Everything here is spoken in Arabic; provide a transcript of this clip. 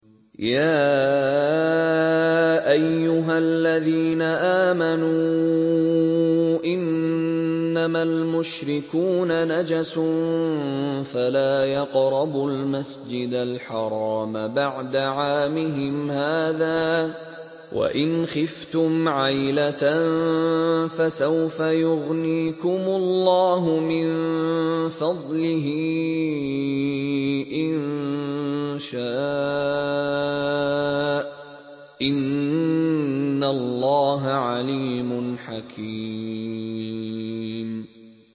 يَا أَيُّهَا الَّذِينَ آمَنُوا إِنَّمَا الْمُشْرِكُونَ نَجَسٌ فَلَا يَقْرَبُوا الْمَسْجِدَ الْحَرَامَ بَعْدَ عَامِهِمْ هَٰذَا ۚ وَإِنْ خِفْتُمْ عَيْلَةً فَسَوْفَ يُغْنِيكُمُ اللَّهُ مِن فَضْلِهِ إِن شَاءَ ۚ إِنَّ اللَّهَ عَلِيمٌ حَكِيمٌ